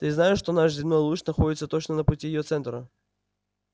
ты знаешь что наш земной луч находится точно на пути её центра